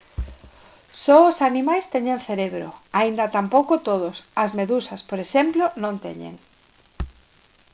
só os animais teñen cerebro aínda tampouco todos; as medusas por exemplo non teñen